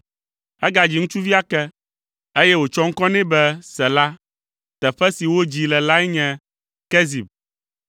Egadzi ŋutsuvi ake, eye wòtsɔ ŋkɔ nɛ be Sela; teƒe si wodzii le lae nye Kezib.